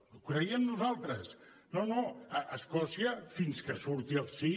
ho creiem nosaltres no no a escòcia fins que surti el sí